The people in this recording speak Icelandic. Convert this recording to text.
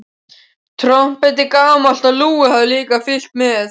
Trompetið, gamalt og lúið, hafði líka fylgt með.